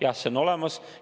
Jah, see on olemas.